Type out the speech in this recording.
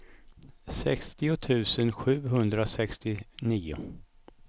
sextio tusen sjuhundrasextionio